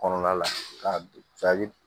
Kɔnɔna la ka jaabi